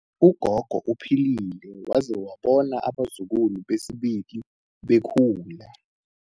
Ugogo uphilile waze wabona abazukulu besibili bekhula.